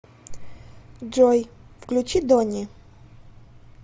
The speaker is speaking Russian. джой включи дони